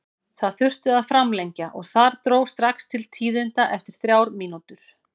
Það þurfti að framlengja og þar dró strax til tíðinda eftir þrjár mínútur.